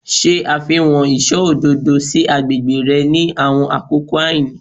Ṣe àfihàn iṣọ òdodo si agbègbè rẹ ni àwọn àkókò àìní